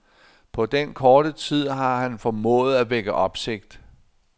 På den korte tid har han formået at vække opsigt.